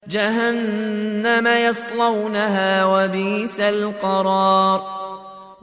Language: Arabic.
جَهَنَّمَ يَصْلَوْنَهَا ۖ وَبِئْسَ الْقَرَارُ